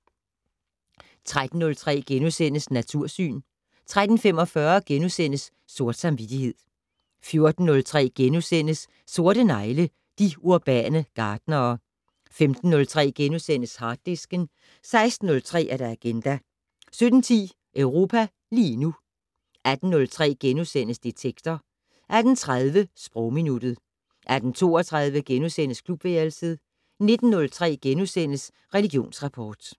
13:03: Natursyn * 13:45: Sort samvittighed * 14:03: Sorte negle: De urbane gartnere * 15:03: Harddisken * 16:03: Agenda 17:10: Europa lige nu 18:03: Detektor * 18:30: Sprogminuttet 18:32: Klubværelset * 19:03: Religionsrapport *